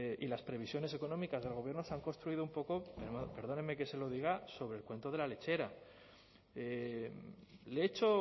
y las previsiones económicas del gobierno se han construido un poco perdóneme que se lo diga sobre el cuento de la lechera le he hecho